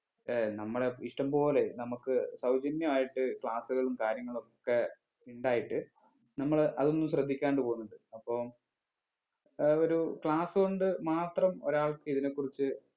ഏർ നമ്മളെ ഇഷ്ടംപോലെ നമുക്ക് സൗജന്യമായിട്ട് class ഉകളും കാര്യങ്ങളൊക്കെ ഇണ്ടായിട്ട് നമ്മള് അതൊന്നും ശ്രദ്ധിക്കാണ്ട് പോകുന്നുണ്ട് അപ്പം ഏർ ഒരു class കൊണ്ട് മാത്രം ഒരാൾക്ക് ഇതിനെ കുറിച്ച്